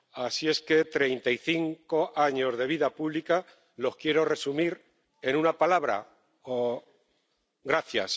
Son treinta y cinco años de vida pública que quiero resumir en una palabra gracias.